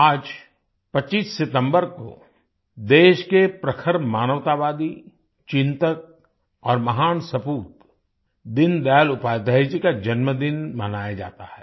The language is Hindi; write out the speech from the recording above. आज 25 सितंबर को देश के प्रखर मानवतावादी चिन्तक और महान सपूत दीनदयाल उपाध्याय जी का जन्मदिन मनाया जाता है